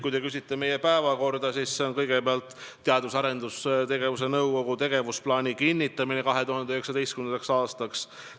Kui te küsite meie päevakorra kohta, siis seal on kõigepealt kõne all Teadus- ja Arendustegevuse Nõukogu tegevusplaani kinnitamine 2019. aastaks.